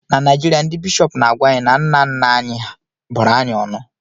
na Naijirịa, ndị bishọp na-agwa anyị na nna nna anyị hà bụrụ anyị ọnụ